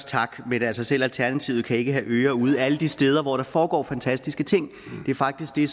tak men altså selv alternativet kan ikke have ører ude alle de steder hvor der foregår fantastiske ting det er faktisk det